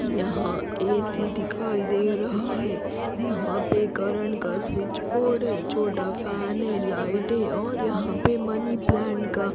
यहां ए_सी दिखाई दे रहा है यहां पर करेंट का स्विच बोर्ड है छोटा फैन है लाइट और यहां पर मनी प्लांट का।